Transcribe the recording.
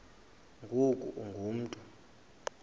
ngoku ungu mntu